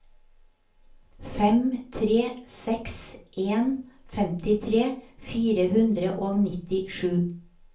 fem tre seks en femtitre fire hundre og nittisju